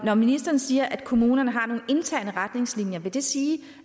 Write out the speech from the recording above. at ministeren siger at kommunerne har nogle interne retningslinjer men vil det sige